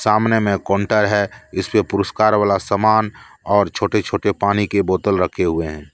सामने में काउंटर है इसपे पुरस्कार वाला समान और छोटे छोटे पानी के बोतल रखे हुए हैं।